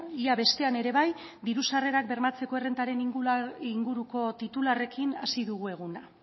ia bestean ere bai diru sarrerak bermatzeko errentaren inguruko titularrekin hasi dugu eguna